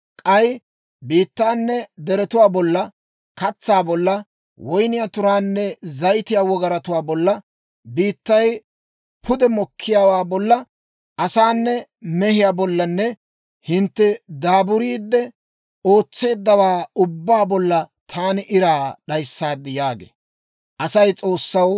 K'ay biittaanne deretuwaa bolla, katsaa bolla, woyniyaa turaanne zayitiyaa wogaratuu bolla, biittay pude mokkiyaawaa bolla, asaanne mehiyaa bollanne hintte daaburiide ootseeddawaa ubbaa bolla taani iraa d'ayssaad» yaagee.